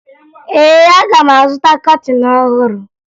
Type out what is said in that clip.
Ee, aga m azụta kọtịn ọhụrụ